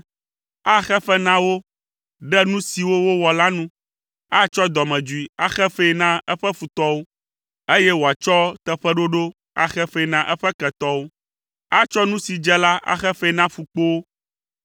Axe fe na wo ɖe nu siwo wowɔ la nu. Atsɔ dɔmedzoe axe fee na eƒe futɔwo, eye wòatsɔ teƒeɖoɖo axe fee na eƒe ketɔwo. Atsɔ nu si dze la axe fee na ƒukpowo.